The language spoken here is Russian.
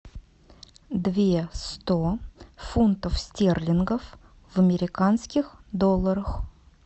две сто фунтов стерлингов в американских долларах